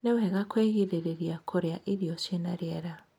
Ni wega kwigiririrĩa kurĩa irio ciĩna rĩera